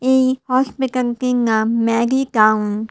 এই হসপিটালটির নাম ম্যাডি টাউন ।